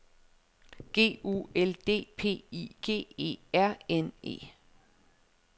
G U L D P I G E R N E